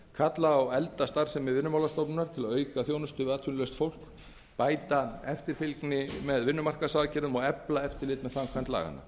kalla á eflda starfsemi vinnumálastofnunar til að auka þjónustu við atvinnulaust fólk bæta eftirfylgni með vinnumarkaðsaðgerðum og efla eftirlit með framkvæmd laganna